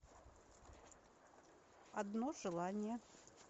одно желание